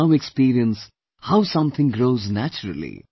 We now experience how something grows naturally